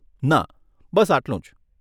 ના બસ આટલું જ.